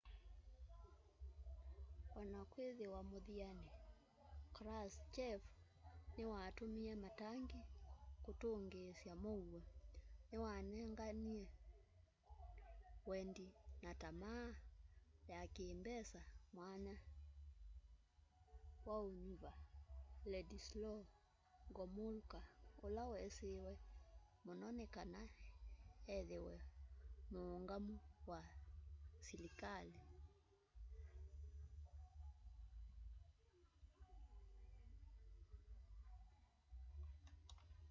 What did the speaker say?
ona kwĩthĩwa muthianĩ krushchev nĩwatumie matangi kũtũngĩĩsya mũuo nĩwanengie wendi na tamaa ya kĩmbesa mwanya waũnyuva wladyslaw gomulka ũla wesĩwe mũno nĩ kana ethĩwe mũũngamũũ wa silikalĩ